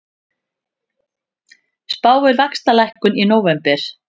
Spáir vaxtalækkun í nóvember